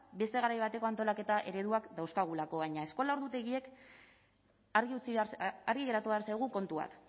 beste garai bateko antolaketa ereduak dauzkagulako baina argi geratu behar zaigu kontu bat